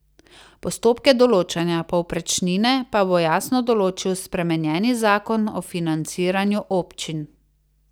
Postopke določanja povprečnine pa bo jasno določil spremenjeni zakon o financiranju občin.